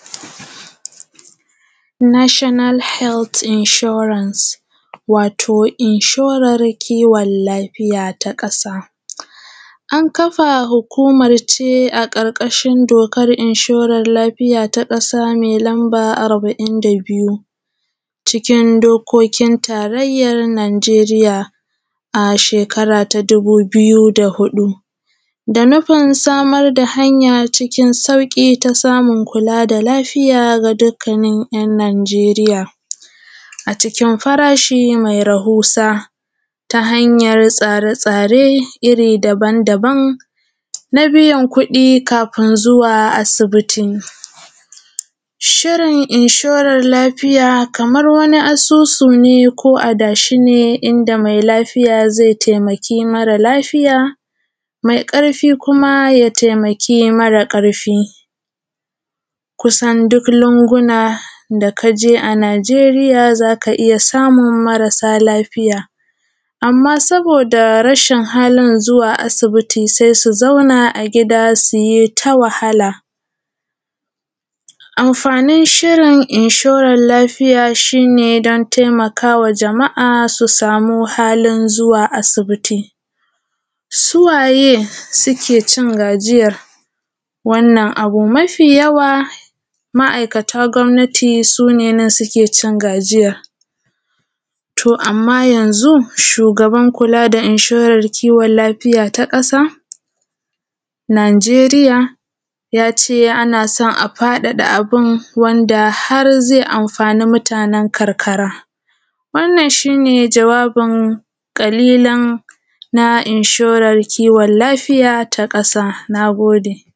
nashanal helt inshorans watoˋ inshoran kiwon lafiya ta kasa anˊkafa hukumar ʧe a karkashin dokar inshorar lafiˋya ta kasa mai numba arba’in da biyu ʧikin dokokin tarayyar najeriya a shekara ta dubu biyu da biyu, da nufin samar da hanya ʧiˋkin sauki ta samun kula da lafiya ta dukakan yan najeriya, a ʧikin farashi mai rahusa ta hanyar tsare tsare irri daban daban na biyan kudi na biyan kudi kafin zuwa asiˋbitiˋ. shirin inshoran lafiya Kaman waniˋ a susu ne ko adashiˋ n inda mai lafiya zai taimakiˋ mare lafiˋya mai karfiˋ kuma ya taimakiˋ mare karfiˋ kusan duk lunguna da kaje a najeriya zaka iyya samun mara lafiya amma saboda rashina halin zuwa asibiti sai su zauna agida suyita wahala. Amfanin shirin inshoran lafiya shine dan taimakawa jama’a su samu halin zuwa asibitiˋ su waye sukeʧin gajiyan wannan abu mafi yawa ma’aikatan gwamnatiˋ sune nan suke ʧin gajiya. To amma yanzu shugaban kula da inshoran kiwon lafiya ta kasa nigeriya yaʧe anason a fadada abun wanda har zai amfaniˋ mutanen karkara wannan shine jawabin kalilan na inshoran kiwon lafiya ta kasa nagode